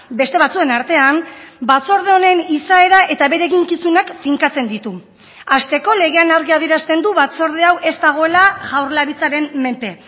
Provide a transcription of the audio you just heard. beste batzuen artean batzorde honen izaera eta bere eginkizunak finkatzen ditu hasteko legean argi adierazten du batzorde hau ez dagoela jaurlaritzaren menpe